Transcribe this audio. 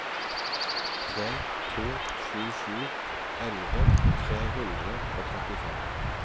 tre to sju sju elleve tre hundre og trettifem